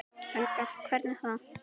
Helga: Hvernig þá?